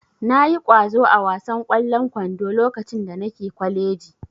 Na yi ƙwazo a wasan ƙwallon kwando lokacin da nake kwaleji